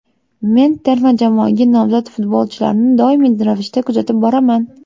Men terma jamoaga nomzod futbolchilarni doimiy ravishda kuzatib boraman.